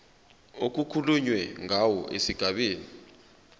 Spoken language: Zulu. okukhulunywe ngawo esigabeni